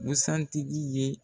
Busan tigi ye